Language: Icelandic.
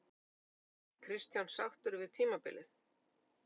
En var Kristján sáttur við tímabilið?